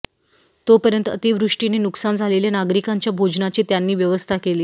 तोपर्यंत अतिवृष्टीने नुकसान झालेल्या नागरिकांच्या भोजनाची त्यांनी व्यवस्था केली